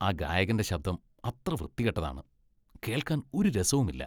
ആ ഗായകന്റെ ശബ്ദം അത്ര വൃത്തികെട്ടതാണ്. കേൾക്കാൻ ഒരു രസവുമില്ല .